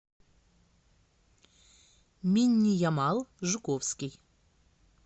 минниямал жуковский